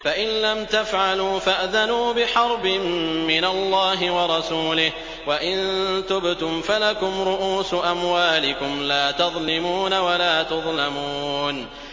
فَإِن لَّمْ تَفْعَلُوا فَأْذَنُوا بِحَرْبٍ مِّنَ اللَّهِ وَرَسُولِهِ ۖ وَإِن تُبْتُمْ فَلَكُمْ رُءُوسُ أَمْوَالِكُمْ لَا تَظْلِمُونَ وَلَا تُظْلَمُونَ